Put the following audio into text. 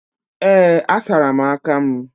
Ee, asara m aka m